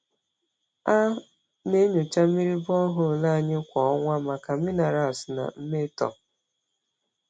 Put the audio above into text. A na-enyocha mmiri borehole anyị kwa ọnwa maka minerals na mmetọ.